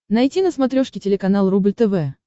найти на смотрешке телеканал рубль тв